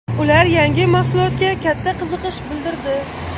Ular yangi mahsulotga katta qiziqish bildirdi.